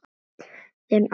Þinn Ásgeir Þór.